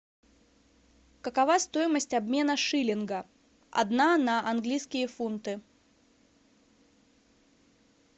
какова стоимость обмена шиллинга одна на английские фунты